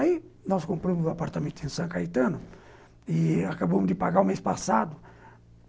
Aí nós compramos um apartamento em São Caetano e acabamos de pagar o mês passado.